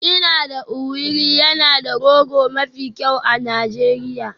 Ina da Owerri yana da rogo mafi kyau a Najeriya